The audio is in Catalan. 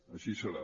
així serà